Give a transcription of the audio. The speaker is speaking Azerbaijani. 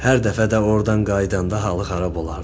Hər dəfə də ordan qayıdanda halı xarab olardı.